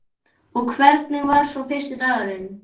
Og hvernig var svo fyrsti dagurinn?